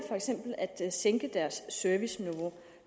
at sænke deres serviceniveau